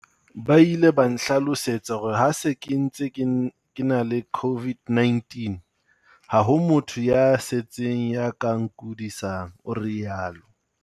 Ba ile ba ntlhalosetsa hore ha ke se ntse ke ke na le COVID-19, ha ho motho ya setseng ya ka nkudisang, o rialo.